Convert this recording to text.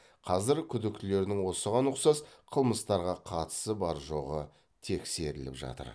қазір күдіктілердің осыған ұқсас қылмыстарға қатысы бар жоғы тексеріліп жатыр